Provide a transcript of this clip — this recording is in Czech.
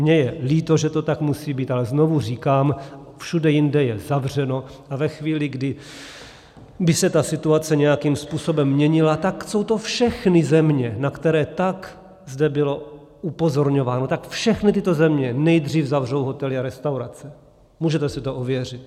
Mně je líto, že to tak musí být, ale znovu říkám, všude jinde je zavřeno a ve chvíli, kdy by se ta situace nějakým způsobem měnila, tak jsou to všechny země, na které tak zde bylo upozorňováno, tak všechny tyto země nejdřív zavřou hotely a restaurace, můžete si to ověřit.